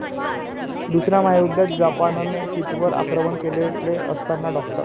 दुसऱ्या महायुद्धात जपानने शीटवर आक्रमण केलेले असतान डॉ.